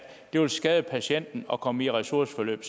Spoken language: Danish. det vil skade patienten at komme i ressourceforløb